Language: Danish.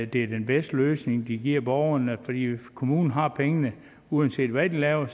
den bedste løsning de giver borgerne fordi kommunen har pengene uanset hvad de laver